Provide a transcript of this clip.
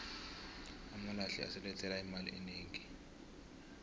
amalahle asilethela imali enegi